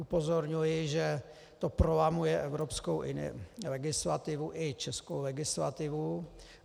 Upozorňuji, že to prolamuje evropskou legislativu i českou legislativu.